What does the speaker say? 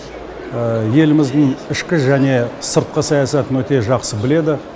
еліміздің ішкі және сыртқы саясатын өте жақсы біледі